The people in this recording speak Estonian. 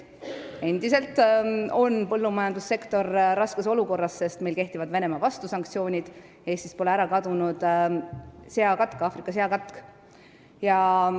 Endiselt on põllumajandussektor raskes olukorras, sest kehtivad Venemaa-vastased sanktsioonid, ka pole Eestist kadunud Aafrika seakatk.